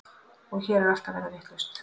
Og hér er allt að verða vitlaust.